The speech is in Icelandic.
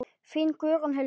Þín Guðrún Hildur.